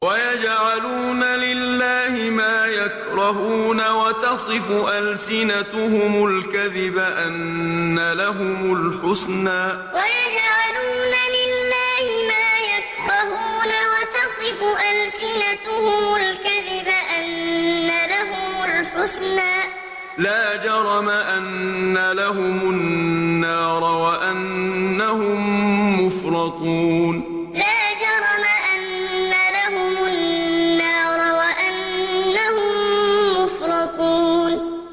وَيَجْعَلُونَ لِلَّهِ مَا يَكْرَهُونَ وَتَصِفُ أَلْسِنَتُهُمُ الْكَذِبَ أَنَّ لَهُمُ الْحُسْنَىٰ ۖ لَا جَرَمَ أَنَّ لَهُمُ النَّارَ وَأَنَّهُم مُّفْرَطُونَ وَيَجْعَلُونَ لِلَّهِ مَا يَكْرَهُونَ وَتَصِفُ أَلْسِنَتُهُمُ الْكَذِبَ أَنَّ لَهُمُ الْحُسْنَىٰ ۖ لَا جَرَمَ أَنَّ لَهُمُ النَّارَ وَأَنَّهُم مُّفْرَطُونَ